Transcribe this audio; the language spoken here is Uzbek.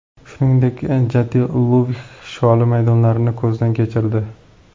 Shuningdek, Jatiluvix sholi maydonlarini ko‘zdan kechirdi.